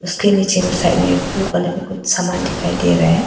उसके नीचे में साइड में ब्लू कलर कुछ सामान दिखाई दे रहा--